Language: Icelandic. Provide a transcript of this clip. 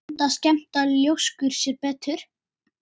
Enda skemmta ljóskur sér betur.